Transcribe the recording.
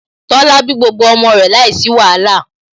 Tola bí gbogbo ọmọ rẹ̀ láìsí wàhálà